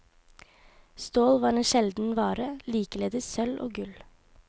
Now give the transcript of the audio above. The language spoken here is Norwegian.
Stål var en sjelden vare, likeledes sølv og gull.